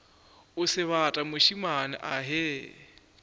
o sebata mošemane a ge